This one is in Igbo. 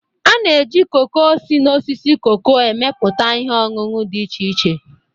A na-eji koko si na osisi koko emepụta ihe ọñụñụ dị iche iche.